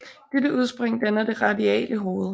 Dette udspring danner det radiale hoved